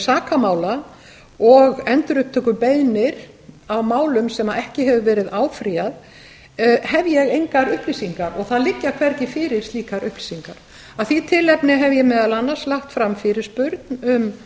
sakamála og endurupptökubeiðnir á málum sem ekki hefur verið áfrýjað hef ég engar upplýsingar og það liggja hvergi fyrir slíkar upplýsingar af því tilefni hef ég meðal annars lagt fram fyrirspurn um